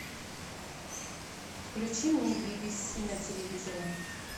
включи мне би би си на телевизоре